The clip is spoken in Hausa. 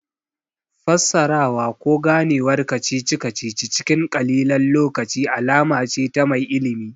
Fassarawa ko Ganewar kacici kacici cikin ƙalilan lokaci alama ce ta mai ilimi